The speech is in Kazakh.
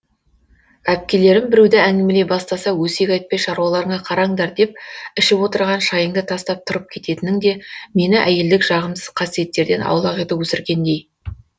әпкелерім біреуді әңгімелей бастаса өсек айтпай шаруаларыңа қараңдар деп ішіп отырған шайыңды тастап тұрып кететінің де мені әйелдік жағымсыз қасиеттерден аулақ етіп өсіргендей